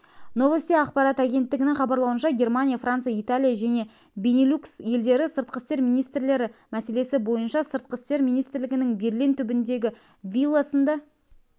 новости ақпарат агентігінің хабарлауынша германия франция италия және бенилюкс елдері сыртқы істер министрлері мәселесі бойынша сыртқы істер министрлігінің берлин түбіндегі вилласында